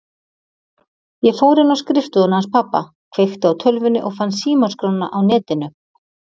Ég fór inn á skrifstofuna hans pabba, kveikti á tölvunni og fann símaskrána á Netinu.